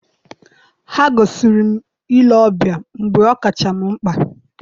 ha gosiri m ile ọbịa mgbe ọ kacha m mkpa.